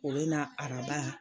O bina araba